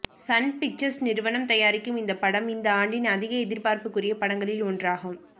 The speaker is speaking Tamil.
சன் பிக்சர்ஸ் நிறுவனம் தயாரிக்கும் இந்த படம் இந்த ஆண்டின் அதிக எதிர்பார்ப்புக்குரிய படங்களில் ஒன்றாகும்